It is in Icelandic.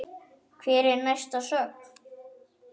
Hver er næsta sögn?